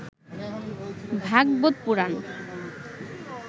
Bhagavata Purana